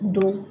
Don